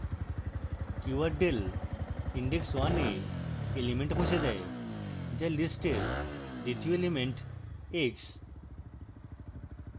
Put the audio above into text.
keyword del index one e element মুছে দেয় the list এর দ্বিতীয় element eggs